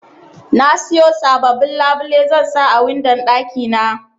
Nasiyo sababbin labile zansa a windon ɗaki na.